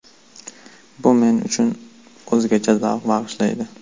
Bu men uchun o‘zgacha zavq bag‘ishlaydi.